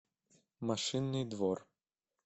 машинный двор